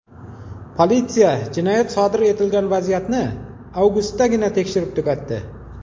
Politsiya jinoyat sodir etilgan vaziyatni avgustdagina tekshirib tugatdi.